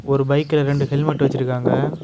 ஒரு பைக்ல ரெண்டு ஹெல்மெட் வச்சிருக்காங்க.